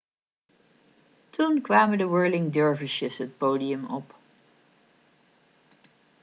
toen kwamen de whirling dervishes het podium op